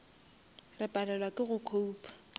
re palelwa ke go copa